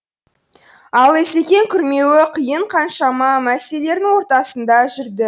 ал асекең күрмеуі қиын қаншама мәселелердің ортасында жүрді